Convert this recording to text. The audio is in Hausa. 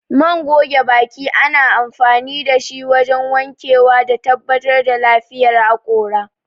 Man goge baki ana amfani dashi wajen wankewa da tabbatar da lafiyar haƙora